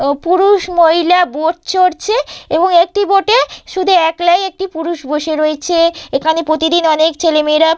ও পুরুষ মহিলা বোট চড়ছে এবং একটি বোট -এ শুধু একলাই একটি পুরুষ বসে রয়েছে এখানে প্রতিদিন অনেক ছেলে মেয়েরা --